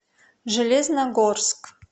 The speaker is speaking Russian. железногорск